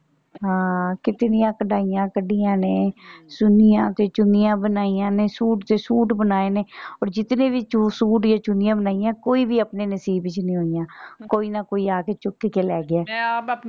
ਹਾਂ ਕਿਤਨੀਆਂ ਕਢਾਈਆਂ ਕੱਢੀਆਂ ਨੇ ਚੁੰਨੀਆਂ ਤੇ ਚੁੰਨੀਆਂ ਬਣਾਈਆਂ ਨੇ ਸੂਟ ਤੇ ਸੂਟ ਬਣਾਏ ਨੇ ਓਰ ਜਿਤਨੇ ਵੀ ਚੂ ਸੂਟ ਬਣਾਏ ਜਾਂ ਚੁੰਨੀਆਂ ਬਣਾਈਆਂ ਕੋਈ ਵੀ ਆਪਣੇ ਨਸੀਬ ਚ ਨਹੀਂ ਹੋਈਆਂ ਕੋਈ ਨਾ ਕੋਈ ਆ ਕੇ ਚੁੱਕ ਕੇ ਲੈ ਗਿਆ ਮੈਂ ਆਪ।